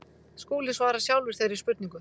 Skúli svarar sjálfur þeirri spurningu.